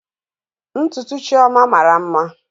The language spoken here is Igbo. Ntutu Chioma mara mma